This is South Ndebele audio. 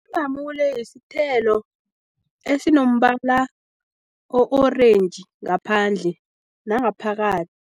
Ilamule isithelo esinombala o-orange ngaphandle nangaphakathi.